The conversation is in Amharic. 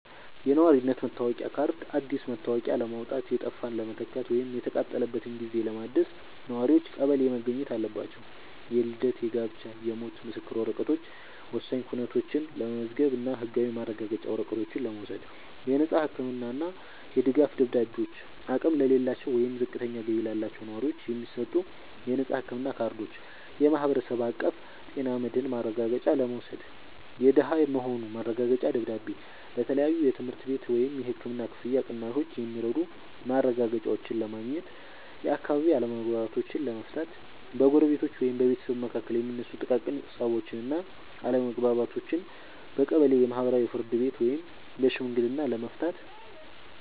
የነዋሪነት መታወቂያ ካርድ፦ አዲስ መታወቂያ ለማውጣት፣ የጠፋን ለመተካት ወይም የተቃጠለበትን ጊዜ ለማደስ ነዋሪዎች ቀበሌ መገኘት አለባቸው። የልደት፣ የጋብቻ እና የሞት ምስክር ወረቀቶች፦ ወሳኝ ኩነቶችን ለመመዝገብ እና ህጋዊ ማረጋገጫ ወረቀቶችን ለመውሰድ። የነፃ ህክምና እና የድጋፍ ደብዳቤዎች፦ አቅም ለሌላቸው ወይም ዝቅተኛ ገቢ ላላቸው ነዋሪዎች የሚሰጡ የነፃ ህክምና ካርዶችን (የማህበረሰብ አቀፍ ጤና መድህን ማረጋገጫ) ለመውሰድ። የደሃ መሆኑ ማረጋገጫ ደብዳቤ፦ ለተለያዩ የትምህርት ቤት ወይም የህክምና ክፍያ ቅናሾች የሚረዱ ማረጋገጫዎችን ለማግኘት። የአካባቢ አለመግባባቶችን ለመፍታት፦ በጎረቤቶች ወይም በቤተሰብ መካከል የሚነሱ ጥቃቅን ፀቦችን እና አለመግባባቶችን በቀበሌ የማህበራዊ ፍርድ ቤት ወይም በሽምግልና ለመፍታት።